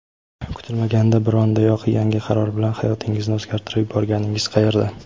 kutilmaganda bir ondayoq yangi qaror bilan hayotingizni o‘zgartirib yuborganingiz qayerda.